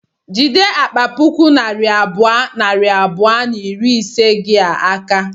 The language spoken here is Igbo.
Jide akpa puku naira abụọ, nari abụọ na iri ise gi a aka